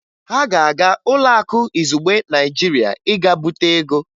Ha ga-aga Ụlọakụ Izugbe Naịjirịa ịga bute ego